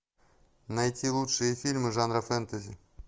найти лучшие фильмы жанра фэнтези